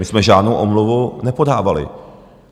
My jsme žádnou omluvu nepodávali.